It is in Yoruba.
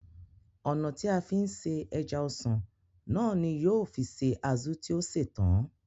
Ònà tí a fi se ẹja-ọsàn náà ní yóò fi se azu tí o ṣètán